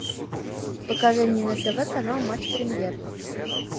покажи мне на тв канал матч премьер